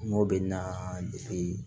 N'o bɛ na